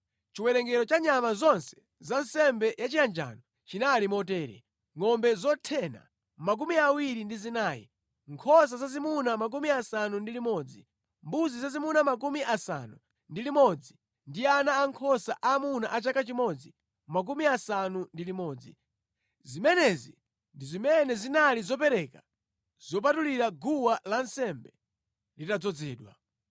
Chiwerengero cha nyama zonse za nsembe yachiyanjano chinali motere: ngʼombe zothena 24, nkhosa zazimuna 60, mbuzi zazimuna 60 ndi ana ankhosa aamuna a chaka chimodzi 60. Zimenezi ndi zimene zinali zopereka zopatulira guwa lansembe litadzozedwa.